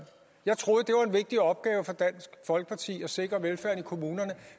jeg troede vigtig opgave for dansk folkeparti at sikre velfærden i kommunerne